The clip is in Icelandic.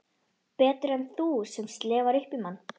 Betur en þú sem slefar upp í mann.